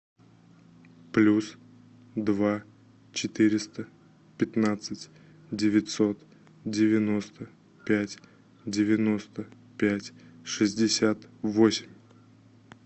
плюс два четыреста пятнадцать девятьсот девяносто пять девяносто пять шестьдесят восемь